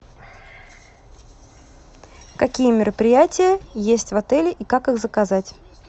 какие мероприятия есть в отеле и как их заказать